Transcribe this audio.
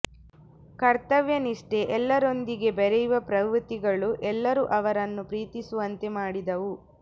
ಕರ್ತವ್ಯ ನಿಷ್ಠೆ ಎಲ್ಲರೊಂದಿಗೆ ಬೆರೆಯುವ ಪ್ರವೃತ್ತಿಗಳು ಎಲ್ಲರೂ ಅವರನ್ನು ಪ್ರೀತಿಸುವಂತೆ ಮಾಡಿದ್ದವು